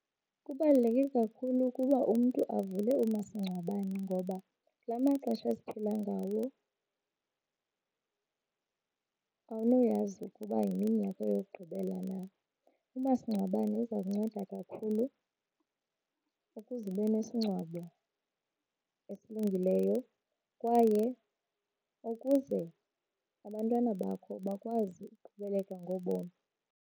Kubaluleke kakhulu ukuba umntu avule umasingcwabane ngoba kula maxesha esiphila ngawo awunakuyazi ukuba yimini yakho yokugqibela na. Umasingcwabane uza kunceda kakhulu ukuze ube nesingcwabo esilungileyo kwaye ukuze abantwana bakho bakwazi ukuqhubeleka ngobomi.